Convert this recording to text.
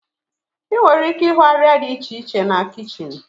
Ị nwere ike ịhụ arịa dị iche iche na kichin.